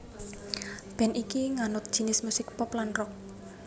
Band iki nganut jinis musik pop lan rock